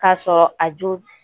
K'a sɔrɔ a jo